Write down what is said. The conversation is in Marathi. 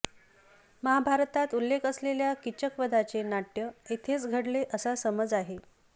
महाभारतात उल्लेख असलेल्या किचकवधाचे नाट्य येथेच घडले असा समज आहे